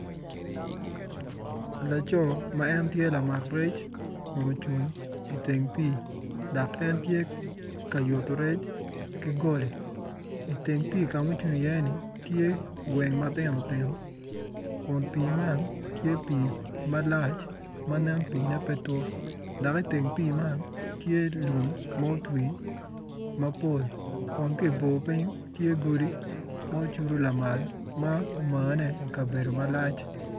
Laco ma en tye lamak rec kun ucung i teng pii dok en tye yutu rec ki goli i teng pii ka ma en ocung iye-ni tye gweng matino tino kun pii man tye pii malac ma nen piine pe tut dok iteng pii man tye lum ma otwi mapol kun ki i bor piny tye godi ma ocudu lamal ma omane i kabedo malac